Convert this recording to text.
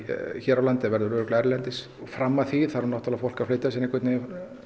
hér á landi það verður örugglega erlendis fram að því þarf náttúrulega fólk að fleyta sér einhvern veginn